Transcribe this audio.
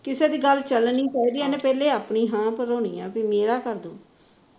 ਕਿਸੇ ਦੀ ਗੱਲ ਚੱਲਣੀ ਪੈ ਜੇ ਇਹਨੇ ਆਪਣੀ ਹਾਂ ਪੁਗਾਉਣੀ ਹੈ ਵੀ ਮੇਰਾ ਕਰਦੇ